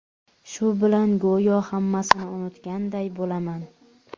Shu bilan go‘yo hammasini unutganday bo‘laman.